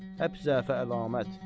Həp zəfə əlamət.